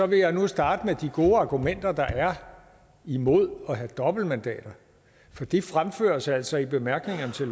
vil jeg nu starte med de gode argumenter der er imod at have dobbeltmandater for de fremføres altså i bemærkningerne til